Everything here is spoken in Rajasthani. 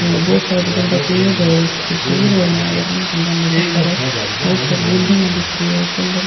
और बहुत सारा बड़ा बड़ा पेड़ है और बहुत सारी बिल्डिंगा दिख रही है कलर --